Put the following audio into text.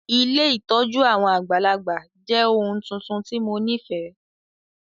Ilé ìtójú àwon àgbàlagbà jẹ oun tuntun ti mo nifẹ.